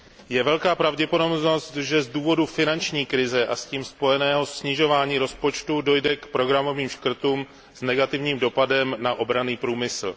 Je velká pravděpodobnost, že z důvodu finanční krize a s tím spojeného snižování rozpočtů dojde k programovým škrtům s negativním dopadem na obranný průmysl.